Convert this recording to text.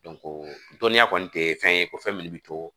dɔnniya kɔni te fɛn ye ko fɛn min bi to